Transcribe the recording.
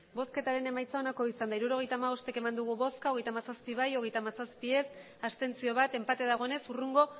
emandako botoak hirurogeita hamabost bai hogeita hamazazpi ez hogeita hamazazpi abstentzioak bat enpate dagoenez hurrengo